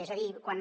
és a dir quan